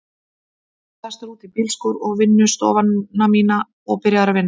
Ég var sestur út í bílskúr, í vinnustofuna mína, og byrjaður að vinna.